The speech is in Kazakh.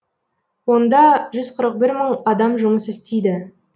онда жүз қырық бір мың адам жұмыс істейді